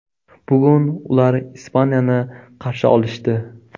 Bugun ular Ispaniyani qarshi olishdi.